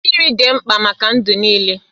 Mmiri dị mkpa maka ndụ niile.